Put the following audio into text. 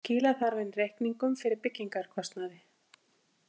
Skila þarf inn reikningum fyrir byggingarkostnaði